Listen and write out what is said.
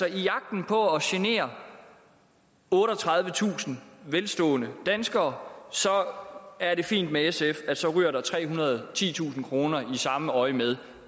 jagten på at genere otteogtredivetusind velstående danskere er det fint med sf at der så ryger trehundrede og titusind kroner i samme øjemed